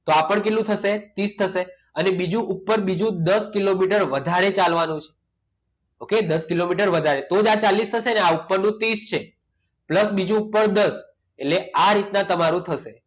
તો આ પણ કેટલું થશે ત્રીસ થશે અને બીજું ઉપર બીજું ઉપર દસ કિલોમીટર વધારે ચાલવાનું છે okay દસ કિલોમીટર વધારે તો જ આ ચાલીસ થશે ને આ ઉપરનો ત્રીસ છે pulse બીજું ઉપર દસ એટલે આ રીતના તમારું થશે